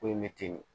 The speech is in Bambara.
Ko in bɛ ten de